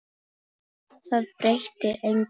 Það breytti engu.